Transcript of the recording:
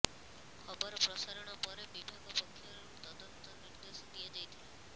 ଖବର ପ୍ରସାରଣ ପରେ ବିଭାଗ ପକ୍ଷରୁ ତଦନ୍ତ ନିର୍ଦ୍ଦେଶ ଦିଆଯାଇଥିଲା